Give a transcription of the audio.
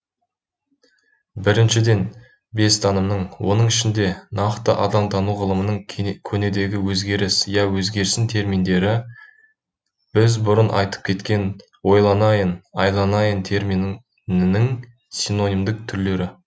біріншіден бестанымның оның ішінде нақты адамтану ғылымының көнедегі өзгеріс я өзгерсін терминдері біз бұрын айтып кеткен ойланайын айланайын терминінің синонимдік түрлері